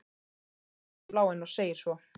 Hann starir út í bláinn og segir svo